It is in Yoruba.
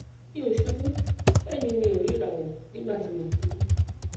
mi ò ṣubú bẹẹ ni mi ò rí ìràwọ nígbà tí mo ṣubú